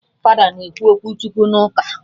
Fada na-ekwu okwu Chukwu na ụka